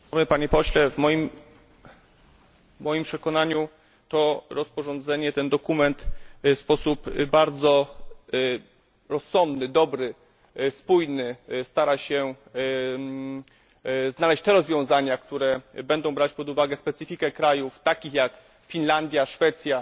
Panie Pośle! W moim przekonaniu to rozporządzenie, ten dokument w sposób bardzo rozsądny, dobry, spójny stara się znaleźć te rozwiązania, które będą brać pod uwagę specyfikę krajów takich jak Finlandia, Szwecja